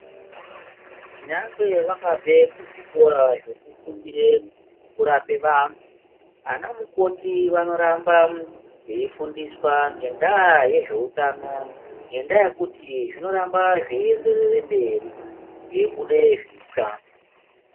Nyangwe vakabve kuzvikora zvekufundire kurapa vantu, anamukoti vanoramba veifundiswa ngendaa yezveutano ngendaa yekuti zvinoramba zveienderere mberi kweibude zvitsva.